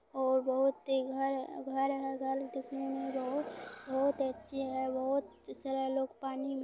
और बहुत ही घर है घर है घर दिखने मे बहोत बहोत अच्छे है बहोत सारा लोग पानी मे --